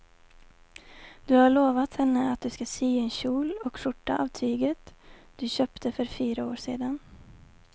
Du har lovat henne att du ska sy en kjol och skjorta av tyget du köpte för fyra år sedan.